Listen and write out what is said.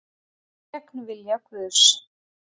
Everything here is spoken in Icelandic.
Gegn vilja Guðs